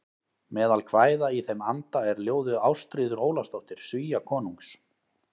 Meðal kvæða í þeim anda er ljóðið Ástríður Ólafsdóttir Svíakonungs